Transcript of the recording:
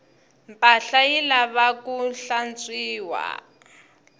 mpahla yi lavaku hlantswiwa